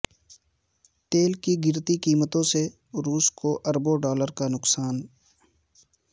تیل کی گرتی قیمتوں سے روس کو اربوں ڈالر کا نقصان